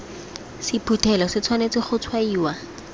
sephuthelo se tshwanetse go tshwaiwa